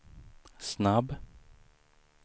snabb